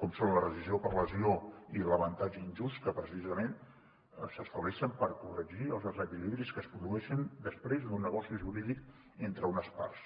com són la rescissió per lesió i l’avantatge injust que precisament s’estableixen per corregir els desequilibris que es produeixen després d’un negoci jurídic entre unes parts